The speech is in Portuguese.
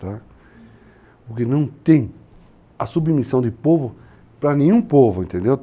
Porque não tem a submissão de povo para nenhum povo, entendeu?